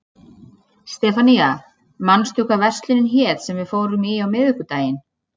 Sefanía, manstu hvað verslunin hét sem við fórum í á miðvikudaginn?